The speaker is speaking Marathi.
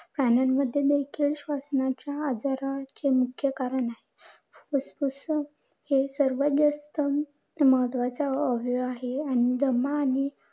प्राण्यांमध्ये देखील श्वसनाच्या आजाराच्या मुख्य कारण आहे. फुफुसं हे सर्वात जास्त महत्वाचं अवयव आहे आणि दमा आणि